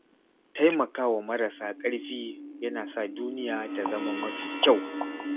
Taimakawa marasa ƙarfi yana sa duniya ta zama mafi kyau.